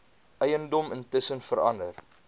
eiendom intussen verander